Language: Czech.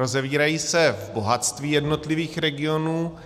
Rozevírají se v bohatství jednotlivých regionů,